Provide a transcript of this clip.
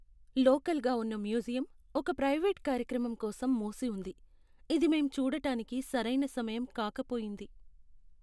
లోకల్గా ఉన్న మ్యూజియం ఒక ప్రైవేట్ కార్యక్రమం కోసం మూసి ఉంది, ఇది మేం చూడటానికి సరైన సమయం కాకపోయింది.